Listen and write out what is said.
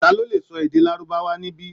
Ta ló lè sọ èdè Lárúbáwá níbí?